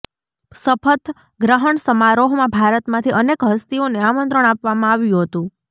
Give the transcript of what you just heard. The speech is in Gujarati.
શપથ ગ્રહણ સમારોહમાં ભારતમાંથી અનેક હસ્તીઓને આમંત્રણ આપવામાં આવ્યું હતું